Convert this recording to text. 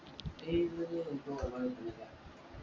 ഏത് വഴിയാണ് എനിക്കും ഓര്മ കിട്ടുന്നില്ല